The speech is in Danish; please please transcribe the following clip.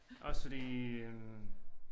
Også fordi øh